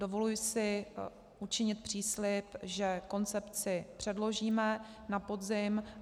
Dovoluji si učinit příslib, že koncepci předložíme na podzim.